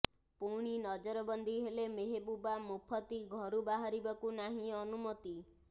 ପୁଣି ନଜରବନ୍ଦୀ ହେଲେ ମେହେବୁବା ମୁଫତୀ ଘରୁ ବାହାରିବାକୁ ନାହିଁ ଅନୁମତି